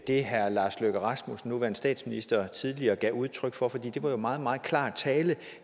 det herre lars løkke rasmussen den nuværende statsminister tidligere gav udtryk for for det var jo meget meget klar tale